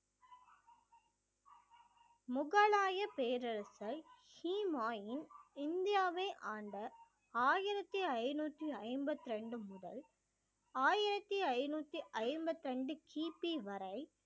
முகலாயப் பேரரசர் ஹிமாயூன் இந்தியாவை ஆண்ட ஆயிரத்தி ஐநூத்தி ஐம்பத்தி ரெண்டு முதல் ஆயிரத்தி ஐநூத்தி ஐம்பத்தி ரெண்டு கிபி வரை